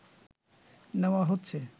নেওয়া হচ্ছে